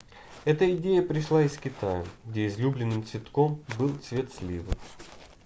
эта идея пришла из китая где излюбленным цветком был цвет сливы